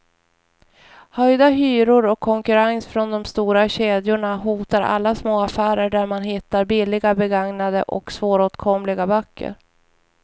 Höjda hyror och konkurrens från de stora kedjorna hotar alla små affärer där man hittar billiga, begagnade och svåråtkomliga böcker.